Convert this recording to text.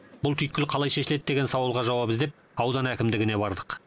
бұл түйткіл қалай шешіледі деген сауалға жауап іздеп аудан әкімдігіне бардық